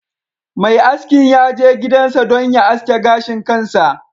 Mai askin ya je gidansa don ya aske gashin kansa